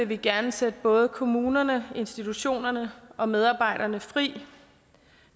vi gerne sætte både kommunerne institutionerne og medarbejderne fri